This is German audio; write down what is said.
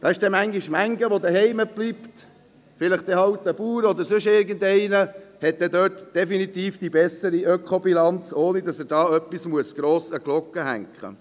Es gibt manch einen, der zuhause bleibt, vielleicht ein Bauer, der hier definitiv die bessere Ökobilanz hat, ohne dass er etwas an die grosse Glocke hängen muss.